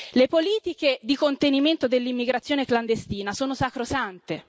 Le politiche di contenimento dell'immigrazione clandestina sono sacrosante.